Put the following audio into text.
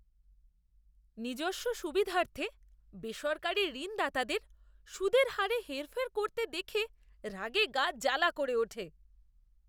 নিজস্ব সুবিধার্থে বেসরকারী ঋণদাতাদের সুদের হারে হেরফের করতে দেখে রাগে গা জ্বালা করে ওঠে।